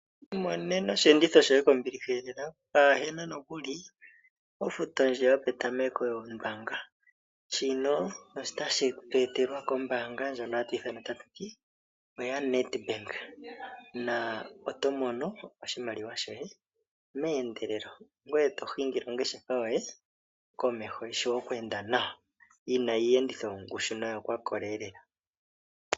Imonena osheenditho shoye kombiliha lela, pwaa he na nokuli ofuto ndjoka yopetameko yombaanga. Shino otatu shi etelwa kombaanga ndjoka hatu ti oya Nedbank na oto mono oshimaliwa shoye meendelelo ngoye to hingile ongeshefa yoye komeho yi shiwe oku enda nawa yi na iiyenditho yongushu noyokwakola lela.